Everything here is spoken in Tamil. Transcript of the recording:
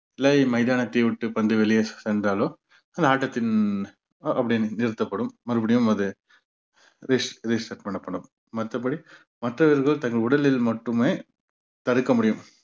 இல்லை மைதானத்தை விட்டு பந்து வந்து வெளியே சென்றாலோ அஹ் ஆட்டத்தின் அப்படியே நிறுத்தப்படும் மறுபடியும் அது பண்ணப்படும் மத்தபடி மற்றவர்கள் தங்கள் உடலில் மட்டுமே தடுக்க முடியும்